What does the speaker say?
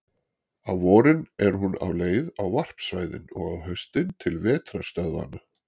Á vorin er hún á leið á varpsvæðin og á haustin til vetrarstöðvanna.